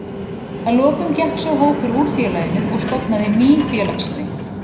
Að lokum gekk sá hópur úr félaginu og stofnaði Ný félagsrit.